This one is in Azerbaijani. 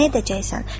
Nə edəcəksən?